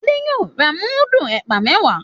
Ade yóò rà mudu ẹpa mẹwa